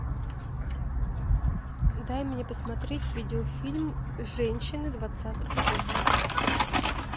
дай мне посмотреть видеофильм женщины двадцатого века